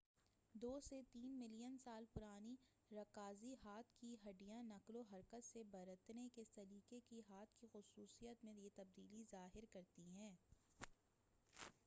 دو سے تین ملین سال پرانی رکازی ہاتھ کی ہڈّیاں نقل و حرکت سے برتنے کے سلیقے کی ہاتھ کی خصوصیت میں یہ تبدیلی ظاہر کرتی ہیں